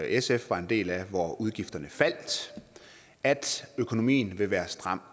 sf var en del af hvor udgifterne faldt at økonomien vil være stram